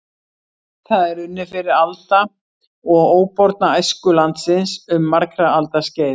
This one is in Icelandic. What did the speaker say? Það er unnið fyrir alda og óborna æsku landsins um margra alda skeið.